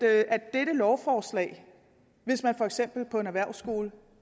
dette lovforslag hvis man for eksempel på en erhvervsskole